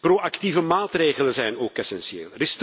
Proactieve maatregelen zijn ook essentieel.